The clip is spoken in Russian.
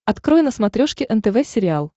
открой на смотрешке нтв сериал